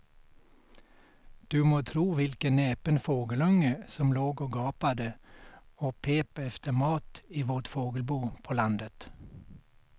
Du må tro vilken näpen fågelunge som låg och gapade och pep efter mat i vårt fågelbo på landet.